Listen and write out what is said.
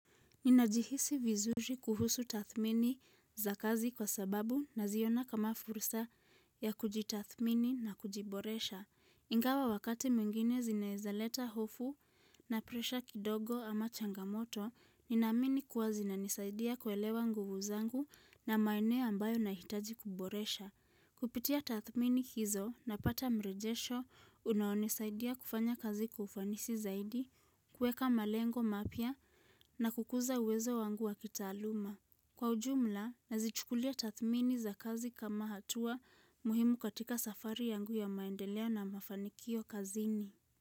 Ninajihisi vizuri kuhusu tathmini za kazi kwa sababu naziona kama fursa ya kujitathmini na kujiboresha. Ingawa wakati mwingine zinezaleta hofu na presha kidogo ama changamoto, ninaamini kuwa zinanisaidia kuelewa nguvu zangu na maeneo ambayo nahitaji kuboresha. Kupitia tathmini hizo napata mrejesho unaonisaidia kufanya kazi kwa ufanisi zaidi, kuweka malengo mapya na kukuza uwezo wangu wa kitaaluma. Kwa ujumla, nazichukulia tathmini za kazi kama hatua muhimu katika safari yangu ya maendeleo na mafanikio kazini.